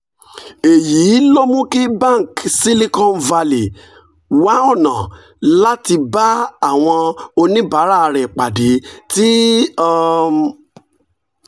èyí ló mú kí bank silicon valley wá ọ̀nà láti bá àwọn oníbàárà rẹ̀ pàdé tí um